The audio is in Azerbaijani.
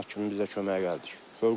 Camaat kimi bizə köməyə gəldik.